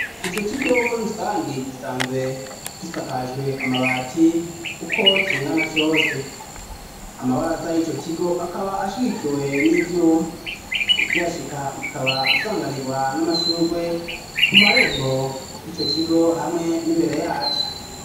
Ico kigo muri rusangi gisanzwe kisakajwe amabati uko cingana cose amabara za y'ico kigo akaba ashikikiwe n'ivyuma utyashika ukaba usanganirwa n'amashurwe ku marembo y'ico kigo hamwe n'imbere yacu.